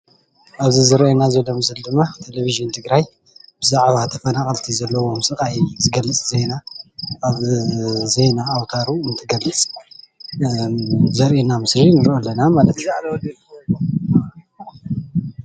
ኣብዚ ዝርኣየና ዘሎ ምስሊ ድማ ቴሌቪጅን ትግራይ ብዛዕባ ተፈናቀልቲ ዘለዎም ስቃይ ዝገልፅ ዜና ኣብ ዜና ኣውተሩ እንትገልፅ ዘርኤና ምስሊ ንርኢ ኣለና።